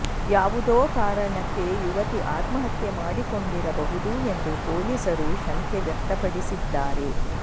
ಯಾವುದೋ ಕಾರಣಕ್ಕೆ ಯುವತಿ ಆತ್ಮಹತ್ಯೆ ಮಾಡಿಕೊಂಡಿರಬಹುದು ಎಂದು ಪೊಲೀಸರು ಶಂಕೆ ವ್ಯಕ್ತಪಡಿಸಿದ್ದಾರೆ